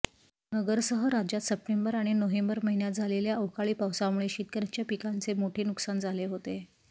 नगरसह राज्यात सप्टेंबर आणि नोव्हेंबर महिन्यांत झालेल्या अवकाळी पाऊसामुळे शेतकर्यांच्या पिकांचे मोठे नुकसान झाले होते